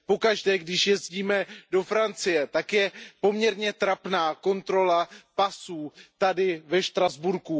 Pokaždé, když jezdíme do Francie, tak je poměrně trapná kontrola pasů tady ve Štrasburku.